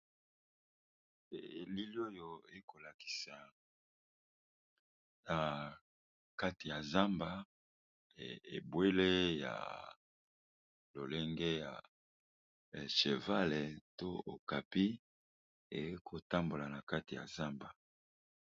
Elili oyo ekolakisa na kati yazamba ebwele ya elenge ya cheval pe okapi ekotambola nakati ya zamba.